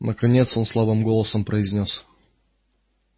наконец он слабым голосом произнёс